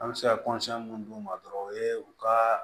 An bɛ se ka mun d'u ma dɔrɔn o ye u ka